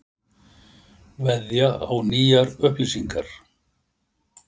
Veðja á nýjar upplýsingar